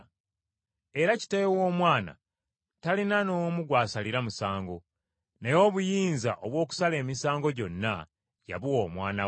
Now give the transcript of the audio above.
Era Kitaawe w’Omwana talina n’omu gw’asalira musango, naye obuyinza obw’okusala emisango gyonna yabuwa Omwana we,